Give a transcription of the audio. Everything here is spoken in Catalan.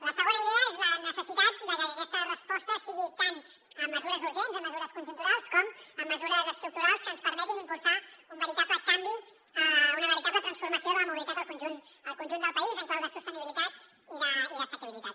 la segona idea és la necessitat de que aquesta resposta sigui tant amb mesures urgents amb mesures conjunturals com amb mesures estructurals que ens permetin impulsar un veritable canvi una veritable transformació de la mobilitat al conjunt del país en clau de sostenibilitat i d’assequibilitat